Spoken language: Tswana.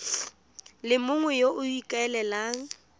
le mongwe yo o ikaelelang